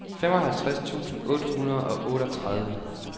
femoghalvtreds tusind otte hundrede og otteogtredive